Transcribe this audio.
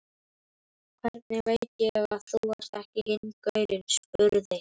Hvernig veit ég að þú ert ekki hinn gaurinn, spurði